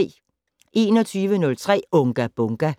21:03: Unga Bunga!